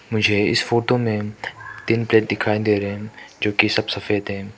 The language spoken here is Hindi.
मुझे इस फोटो में तीन प्लेट दिखाई दे रे हैं जो कि सब सफेद है।